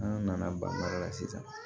An nana ban sisan